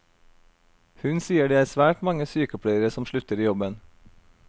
Hun sier det er svært mange sykepleiere som slutter i jobben.